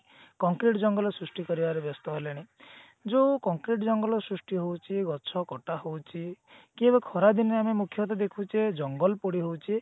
concrete ଜଙ୍ଗଲ ସୃଷ୍ଟି କରିବାରେ ବ୍ୟସ୍ତ ହେଲେଣି ଯୋଉ concrete ଜଙ୍ଗଲ ସୃଷ୍ଟି ହଉଛି ଗଛ କଟା ହଉଛି କି ଏବେ ଖରାଦିନ ମୁଖ୍ୟତ ଆମେ ଦେଖୁଛେ ଜଙ୍ଗଲ ପୋଡି ହଉଛି